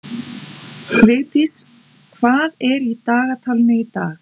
Vigdís, hvað er í dagatalinu í dag?